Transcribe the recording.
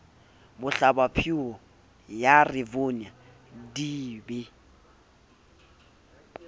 bohlabaphio ya rivonia di be